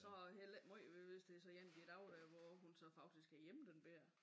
Så heller ikke meget ved det hvis det så en af de dage hvor hun så faktisk er hjemme den bette